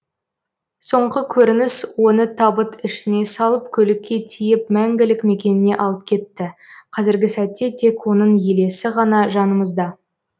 соңғы көрініс оны табыт ішіне салып көлікке тиеп мәңгілік мекеніне алып кетті қазіргі сәтте тек оның елесі ғана жанымызда